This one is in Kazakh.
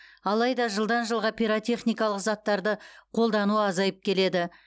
алайда жылдан жылға пиротехникалық заттарды қолдану азайып келеді